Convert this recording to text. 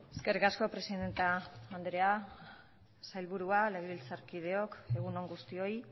eskerrik asko presidente anderea sailburua legebiltzarkideok egun on guztioi